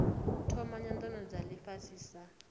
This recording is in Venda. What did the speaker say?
thoma nyanano dza ifhasi sa